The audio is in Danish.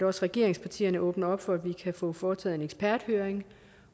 også regeringspartierne åbner op for at vi kan få foretaget en eksperthøring